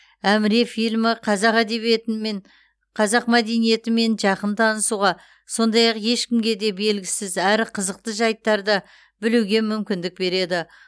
әміре фильмі қазақ әдебиетімен қазақ мәдениетімен жақын танысуға сондай ақ ешкімге де белгісіз әрі қызықты жәйттарды білуге мүмкіндік береді